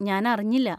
ഞാൻ അറിഞ്ഞില്ല.